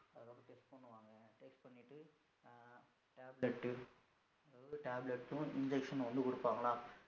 Tablet அதாவது tablet injection ஒண்ணு குடுபான்களா